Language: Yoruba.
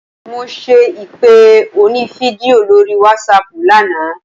Mo ṣe ìpè onífídíò lórí wásaàpù lánàá.